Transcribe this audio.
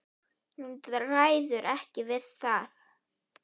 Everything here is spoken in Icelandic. Hún ræður ekki við það.